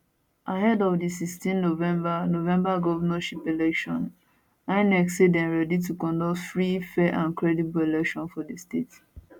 ahead of di 16 november november govnorship election inec say dem ready to conduct free fair and credible election for di state